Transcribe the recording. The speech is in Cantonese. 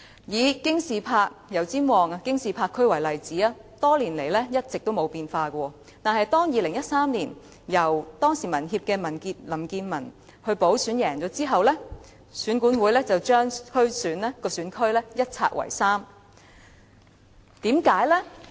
以油尖旺區的京士柏為例子，該選區多年來一直沒有變化，但當民協的林健文於2013年經補選勝出後，選管會便把該選區一拆為三。